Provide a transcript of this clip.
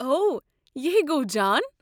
اوہ، یہِ ہے گوٚو جان۔